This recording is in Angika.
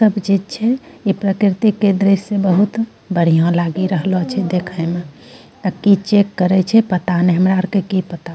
तब जे छे इ प्रकृति के दृश्य बहुत बढ़िया लागी रहलो छे देखै म अ कि चेक करै छे पता नाय हमरा अर क कि पता।